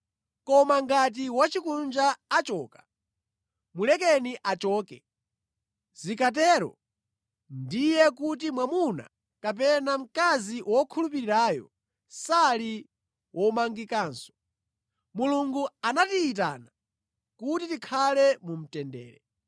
Koma ngati wosakhulupirira achoka, mulekeni achoke. Zikatero ndiye kuti mwamuna kapena mkazi wokhulupirirayo sali womangikanso. Mulungu anatiyitana kuti tikhale mu mtendere.